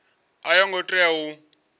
a yo ngo tea u